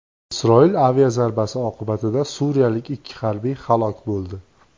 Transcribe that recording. Isroil aviazarbasi oqibatida suriyalik ikki harbiy halok bo‘ldi.